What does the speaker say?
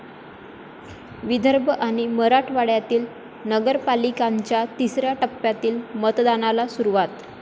विदर्भ आणि मराठवाड्यातील नगरपालिकांच्या तिसऱ्या टप्प्यातील मतदानाला सुरुवात